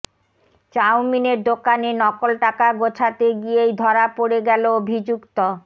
চাউমিনের দোকানে নকল টাকা গছাতে গিয়েই ধরা পড়ে গেল অভিযুক্ত